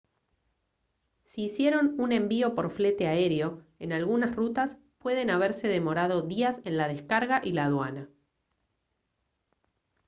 si hicieron un envío por flete aéreo en algunas rutas pueden haberse demorado días en la descarga y la aduana